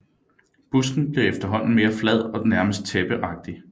Busken bliver efterhånden mere flad og nærmest tæppeagtig